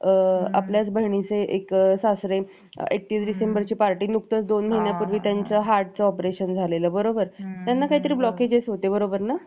एकतीस डिसेंबरची party नुकतच दोन महिन्यापूर्वी त्यांचं heart operation झालेलं बरोबर त्यांना काहीतरी blockages होते बरोबर ना